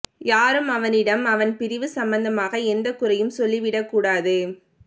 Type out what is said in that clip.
யாரும் அவனிடம் அவன் பிரிவு சம்பந்தமாக எந்தக் குறையும் சொல்லிவிடக் கூடாது